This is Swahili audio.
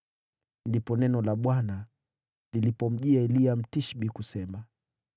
Ndipo neno la Bwana lilipomjia Eliya Mtishbi kusema,